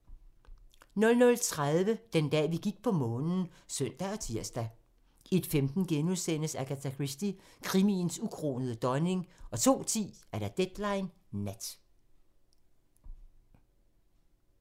00:30: Den dag, vi gik på Månen (søn og tir) 01:15: Agatha Christie - krimiens ukronede dronning * 02:10: Deadline Nat